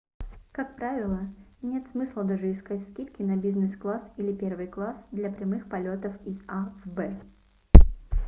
как правило нет смысла даже искать скидки на бизнес-класс или первый класс для прямых полетов из a в б